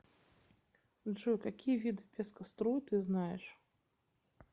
джой какие виды пескоструй ты знаешь